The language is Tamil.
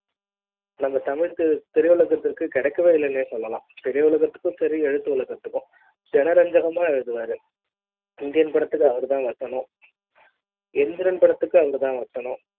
நம்ம தமிழ்த் திரையுலகத்திற்கு கிடைக்கவே இல்லன்னு சொல்லலாம்திரையுலகத்துக்கும் சரி எழுத்துகத்துக்கு ஜனரஞ்சகமா எழுதுவாரு இந்தியன் படத்துக்கு அவர் தான் வசனம் எந்திரன் படத்துக்கு அவங்க தான் வசனம்